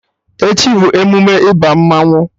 Echi bụ emume ịba mmanwụ